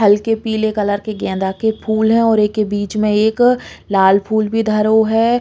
हल्की पीले कलर के गेंदा के फूल हैं और एके बीच में एक लाल फूल भी धरो है।